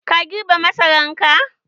Ka girbe masaran ka?